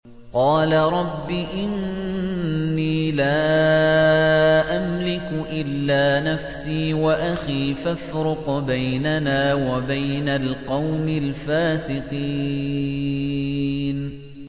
قَالَ رَبِّ إِنِّي لَا أَمْلِكُ إِلَّا نَفْسِي وَأَخِي ۖ فَافْرُقْ بَيْنَنَا وَبَيْنَ الْقَوْمِ الْفَاسِقِينَ